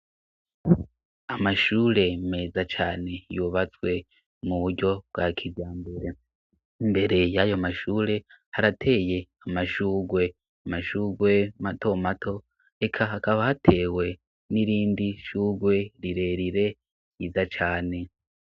Amashure meza cane yubatswe mu buryo bwa kirya mbere imbere y'ayo mashure harateye amashugwe, amashugwe mato mato eka hakaba hatewe n'irindi sugwe rirerire ryiza cane.